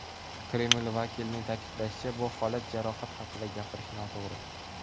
Kreml vakilining ta’kidlashicha, bu holatda jarohat haqida gapirish noto‘g‘ri.